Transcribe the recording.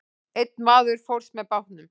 Einn maður fórst með bátnum.